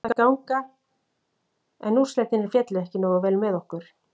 Mér fannst það ganga en úrslitin féllu ekki nógu vel með okkur.